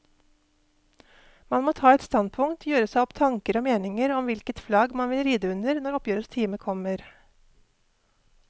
Man må ta et standpunkt, gjøre seg opp tanker og meninger om hvilket flagg man vil ride under når oppgjørets time kommer.